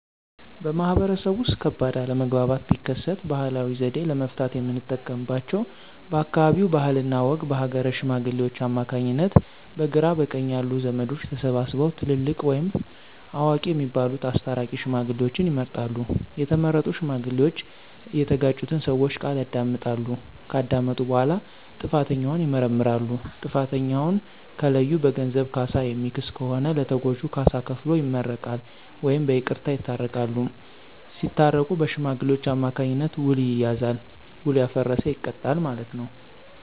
በማህበረሰቡ ውስጥ ከባድ አለመግባባት ቢከሰት ባህላዊ ዘዴ ለመፍታት የምንጠቀምባቸው በአካባቢው ባህልና ወግ በሀገረ ሽማግሌዎች አማካኝነት በግራ በቀኝ ያሉ ዘመዶች ተሰብስበው ትልልቅ ወይም አዋቂ የሚባሉት አስታራቂ ሽማግሌዎችን ይመርጣሉ። የተመረጡ ሽማግሌዎች እየተጋጩትን ሰወች ቃል ያዳምጣሉ። ከዳመጡ በኋላ ጥፋተኛውን ይመረምራሉ። ጥፋተኛውን ከለዩ በገንዘብ ካሳ የሚክስ ከሆነ ለተጎጁ ካሳ ከፍሎ ይመረቃል ወይም በይቅርታ ይታረቃሉ። ሳታረቁ በሽማግሌዎች አማካኝነት ዉል ይያያዛል። ዉሉ ያፈረሰ ይቀጣል ማለት ነው።